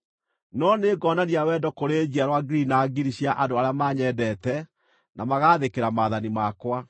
no nĩ ngonania wendo kũrĩ njiarwa ngiri na ngiri cia andũ arĩa manyendete na magaathĩkĩra maathani makwa.